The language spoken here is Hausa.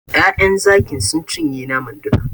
Ƴaƴan Zaki sun cinye naman duka.